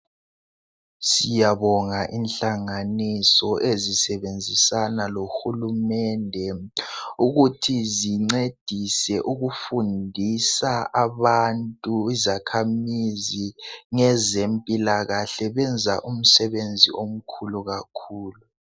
Siyabonga inhlanganiso ezisebenzisana lohulumende ukuthi zincedise ukufundisa abantu izakhamizi ngezempilakahle benza umsebenzi omkhulu kakhulu.